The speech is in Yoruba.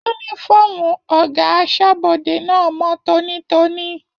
Yúnífọ̀ọ́mù ọgá asọ́bọdè náà mọ tónítóní.